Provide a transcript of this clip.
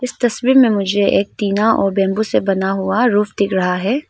इस तस्वीर में मुझे एक टीना और बंबू से बना हुआ रूफ दिख रहा है।